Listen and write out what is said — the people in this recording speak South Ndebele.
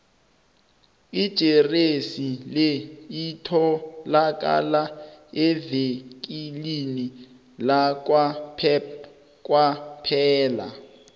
ijeresi le itholakala evikilini lakwapep kwaphela